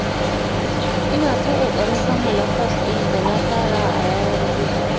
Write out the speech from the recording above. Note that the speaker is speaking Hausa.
Ina ta ƙoƙarin kammala kwas ɗin da na fara a yanar gizo